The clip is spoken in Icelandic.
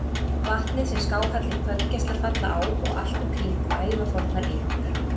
Vatnið, sem skáhallir kvöldgeislar falla á og allt um kring ævafornar eikur.